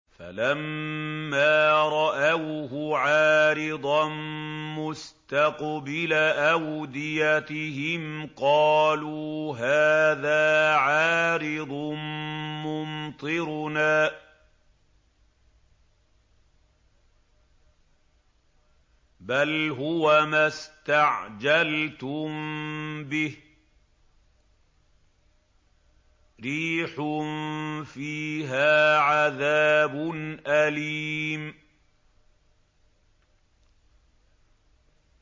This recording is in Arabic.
فَلَمَّا رَأَوْهُ عَارِضًا مُّسْتَقْبِلَ أَوْدِيَتِهِمْ قَالُوا هَٰذَا عَارِضٌ مُّمْطِرُنَا ۚ بَلْ هُوَ مَا اسْتَعْجَلْتُم بِهِ ۖ رِيحٌ فِيهَا عَذَابٌ أَلِيمٌ